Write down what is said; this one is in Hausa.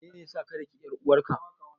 Menene ya sa ka daki ƴar uwarka?